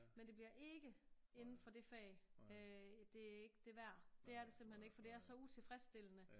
Men det bliver ikke inden for det fag øh det er ikke det værd det er det simpelthen ikke for det er så utilfredsstillende